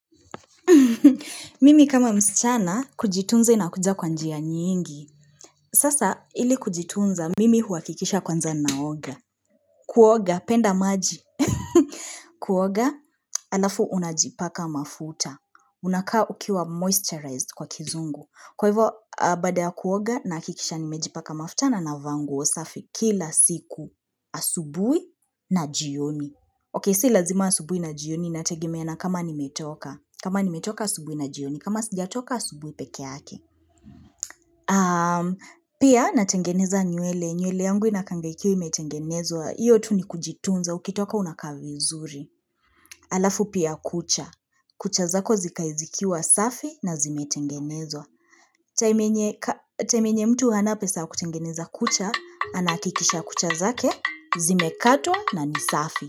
Mimi kama msichana kujitunza inakuja kwa njia nyingi Sasa ili kujitunza mimi huakikisha kwanza naoga Kuoga, penda maji. Kuoga halafu unajipaka mafuta. Unakaa ukiwa moisturized kwa kizungu. Kwa hivyo baada ya kuoga nahakikisha nimejipaka mafuta na ninavaa nguo safi kila siku asubuhi na jioni. Okei, si lazima asubuhi na jioni inategemea na kama nimetoka. Kama nimetoka asubuhi na jioni, kama sijatoka asubuhi peke yake. Pia natengeneza nywele, nywele yangu inakaanga ikiwa imetengenezwa. Hiyo tu ni kujitunza, ukitoka unakaa vizuri. Halafu pia kucha. Kucha zako zikae zikiwa safi na zimetengenezwa. Time yenye mtu hana pesa ya kutengeneza kucha, anahakikisha kucha zake, zimekatwa na ni safi.